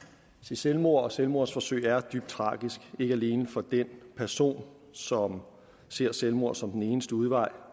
selvmord og selvmordsforsøg er dybt tragisk ikke alene for den person som ser selvmord som den eneste udvej